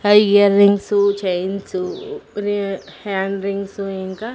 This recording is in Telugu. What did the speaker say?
హై ఇయర్ రింగ్స్ చైన్స్ రి హ్యాండ్ రింగ్స్ ఇంకా--